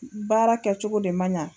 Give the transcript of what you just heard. Baara kɛ cogo de man ɲɛ.